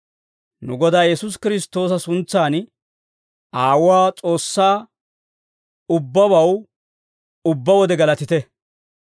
Nu Godaa Yesuusi Kiristtoosa suntsan, Aawuwaa S'oossaa ubbabaw ubbaa wode galatite.